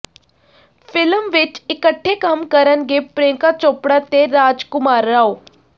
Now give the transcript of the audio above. film ਵਿੱਚ ਇਕੱਠੇ ਕੰਮ ਕਰਨਗੇ ਪ੍ਰਿਯੰਕਾ ਚੋਪੜਾ ਤੇ ਰਾਜਕੁਮਾਰ ਰਾਓ